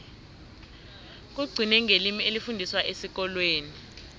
kugcine ngelimi elifundiswa esikolweni